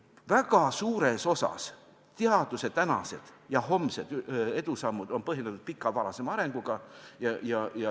Väga suures osas teaduse tänased ja homsed edusammud on põhjendatud pika varasema arenguga.